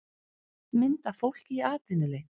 mynd af fólki í atvinnuleit